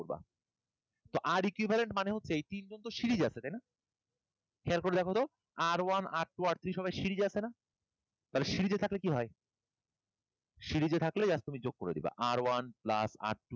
তো R equivalent মানে হচ্ছে এই তিনজন তো serial তাইনা? খেয়াল করে দেখি তো R one R two R three সবাই series আছে না? তাহলে series এ থাকলে কি হয়? Series এ থাকলে এবার তুমি যোগ করে দিবা। R one plus R two,